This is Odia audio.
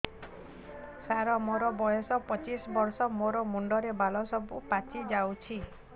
ସାର ମୋର ବୟସ ପଚିଶି ବର୍ଷ ମୋ ମୁଣ୍ଡରେ ବାଳ ସବୁ ପାଚି ଯାଉଛି